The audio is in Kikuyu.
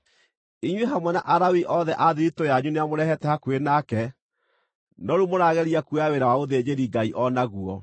Inyuĩ hamwe na Alawii othe a thiritũ yanyu nĩamũrehete hakuhĩ nake, no rĩu mũrageria kuoya wĩra wa ũthĩnjĩri-Ngai o naguo.